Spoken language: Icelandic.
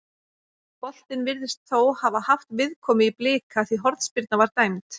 Boltinn virðist þó hafa haft viðkomu í Blika því hornspyrna var dæmd.